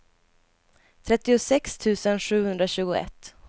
trettiosex tusen sjuhundratjugoett